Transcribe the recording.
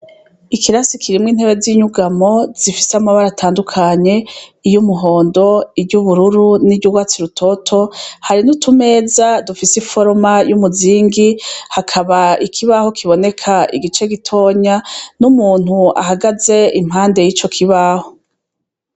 Ikirasi kirimwo intebe z'inyugamo zifise amabara atandukanye iyo umuhondo iryubururu n'iryo urwatsi rutoto hari n'utumeza dufise i foroma y'umuzingi hakaba ikibaho kiboneka igice gitonya n'umuntu ahagaze impande y'ico kibaho.